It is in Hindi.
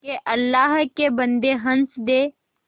के अल्लाह के बन्दे हंस दे